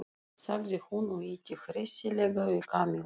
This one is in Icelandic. sagði hún og ýtti hressilega við Kamillu.